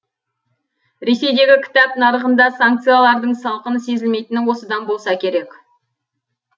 ресейдегі кітап нарығында санкциялардың салқыны сезілмейтіні осыдан болса керек